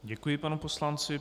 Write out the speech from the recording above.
Děkuji panu poslanci.